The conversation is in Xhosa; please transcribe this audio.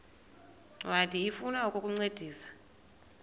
ncwadi ifuna ukukuncedisa